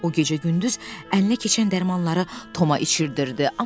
O gecə-gündüz əlinə keçən dərmanları Toma içirdirdi.